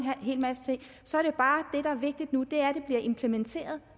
hel masse ting så det der er vigtigt nu er at det bliver implementeret